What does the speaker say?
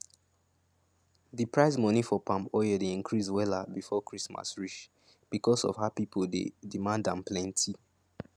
d price money for palm oil dey increase wella before christmas reach becos of how pipo dey demand am plenti